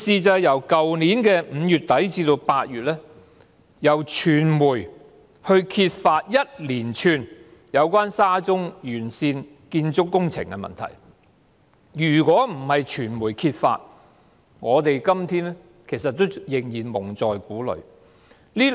在去年5月底至8月，傳媒揭發了一連串有關沙中線沿線建築工程的問題；如果不是傳媒揭發，我們到今天仍然會被蒙在鼓裏。